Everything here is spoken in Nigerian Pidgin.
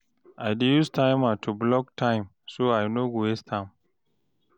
I dey use timer to block time, so I no go waste am.